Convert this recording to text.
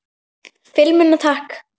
Filmuna takk!